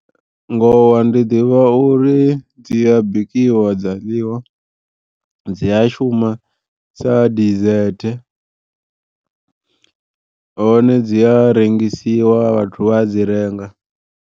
Ngowa ndi ḓivha uri dzi a bikiwa dza ḽiwa dzi a shuma sa dizethe hone dzi a rengisiwa vhathu vha a dzi renga.